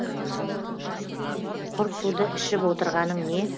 құр суды ішіп отырғаның не